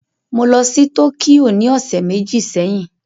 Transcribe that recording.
Mo lọ sí Tókíyò ní ọ̀sẹ̀ méjì sẹ́yìn